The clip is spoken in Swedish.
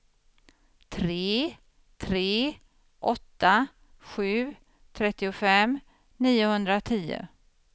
tre tre åtta sju trettiofem niohundratio